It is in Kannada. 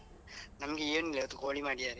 ನಮ್ಗೆ ಏನಿಲ್ಲ ಇವತ್ತು ಕೋಳಿ ಮಾಡಿದ್ದಾರೆ.